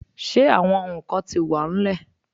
Ṣe awọn nkan ti wa n lẹ?